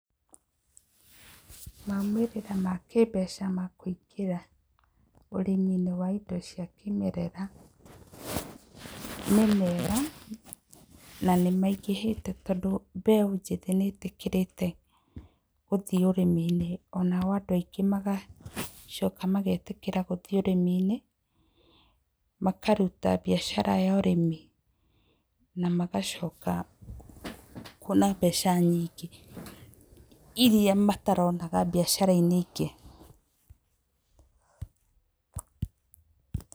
Maumĩrĩra ma kĩmbeca ma kũingĩra indo inĩ cia kĩmerera nĩ mega na nĩ maingĩhĩte tondũ mbeũ njĩthĩ nĩ ĩtĩkĩrĩte gũthiĩ ũrĩmi-inĩ ona andũ aingĩ magetĩkĩra gũthiĩ ũrĩmi-inĩ makaruta biacara ya ũrĩmi na magacoka kwona mbeca nyingĩ iria mataronaga biacara-inĩ ingĩ.